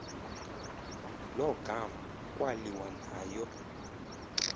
lo gama kwaliwanayo